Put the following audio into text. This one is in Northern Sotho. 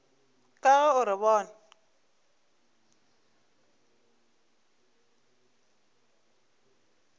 ka ge o re bona